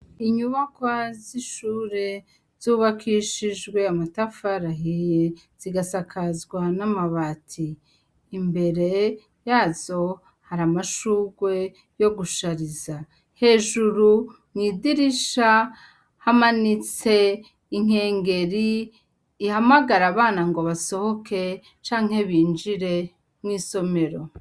Inyubaka z'ishure zubakishijwe amatafarahiye zigasakazwa n'amabati imbere yazo hari amashurwe yo gushariza hejuru mwidirisha hamanitse inkengeri ihamagarae ri abana ngo basohoke canke binjire mwo isomero.